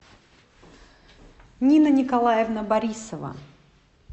нина николаевна борисова